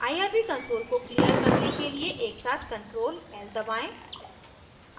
irb console को clear करने के लिए एकसाथ ctrl+l दबाएं